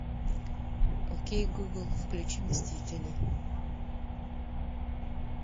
окей гугл включи мстителей